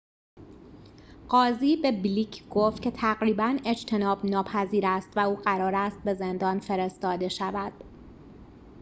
قاضی به بلیک گفت که تقریباً اجتناب‌ناپذیر است و او قرار است به زندان فرستاده شود